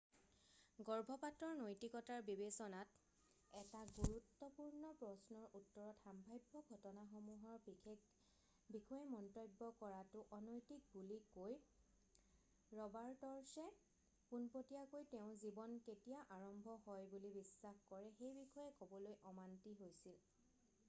গৰ্ভপাতৰ নৈতিকতাৰ বিবেচনাত এটা গুৰুত্বপূৰ্ণ প্ৰশ্নৰ উত্তৰত সম্ভাব্য ঘটনাসমূহৰ বিষয়ে মন্তব্য কৰাটো অনৈতিক বুলি কৈ ৰবাৰৰ্টছে পোনপটীয়াকৈ তেওঁ জীৱন কেতিয়া আৰম্ভ হয় বুলি বিশ্বাস কৰে সেই বিষয়ে ক'বলৈ অমান্তি হৈছিল